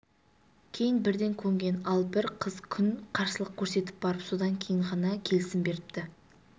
кейін бірден көнген ал бір қыз күн қарсылық көрсетіп барып содан кейін ғана келісім беріпті